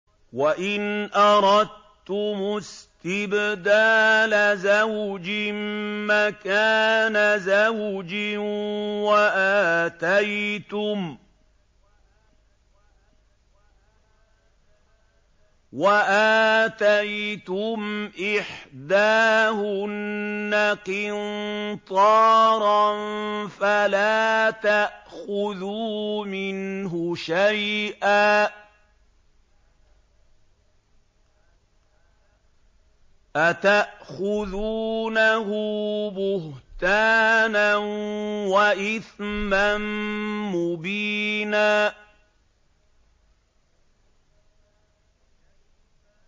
وَإِنْ أَرَدتُّمُ اسْتِبْدَالَ زَوْجٍ مَّكَانَ زَوْجٍ وَآتَيْتُمْ إِحْدَاهُنَّ قِنطَارًا فَلَا تَأْخُذُوا مِنْهُ شَيْئًا ۚ أَتَأْخُذُونَهُ بُهْتَانًا وَإِثْمًا مُّبِينًا